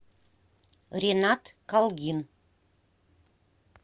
ренат калгин